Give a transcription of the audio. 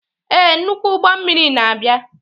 Ee, nnukwu ụgbọ mmiri na-abịa.